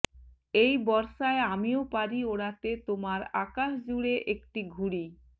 এই বর্ষায় আমিও পারি ওড়াতে তোমার আকাশজুড়ে একটি ঘুড়ি